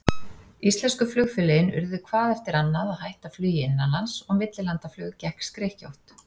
Íslensku flugfélögin urðu hvað eftir annað að hætta flugi innanlands, og millilandaflug gekk skrykkjótt.